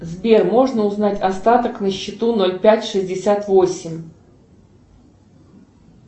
сбер можно узнать остаток на счету ноль пять шестьдесят восемь